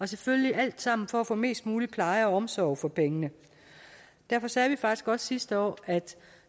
selvfølgelig alt sammen for at få mest mulig pleje og omsorg for pengene derfor sagde vi faktisk også sidste år at